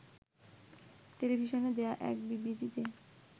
টেলিভিশনে দেয়া এক বিবৃতিতে